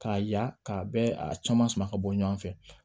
K'a ya ka bɛɛ a caman sama ka bɔ ɲɔgɔn fɛ